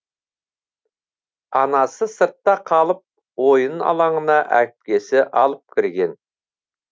анасы сыртта қалып ойын алаңына әпкесі алып кірген